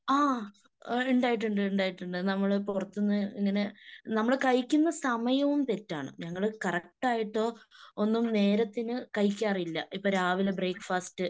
ആഹ് ഉണ്ടായിട്ടുണ്ട് ഉണ്ടായിട്ടുണ്ട് നമ്മള് പുറത്തുന്ന് ഇങ്ങനെ നമ്മള് കഴിക്കുന്ന സമയവും തെറ്റാണ്. ഞങ്ങള് കറക്റ്റായിട്ടോ ഒന്നും നേരത്തിനു കഴിക്കാറില്ല. ഇപ്പൊ രാവിലെ ബ്രേക്‌ഫാസ്റ്